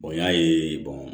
y'a ye